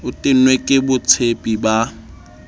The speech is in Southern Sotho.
o tennwe ke boitshepi ba